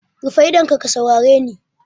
Rufe idonka ka saurare ni!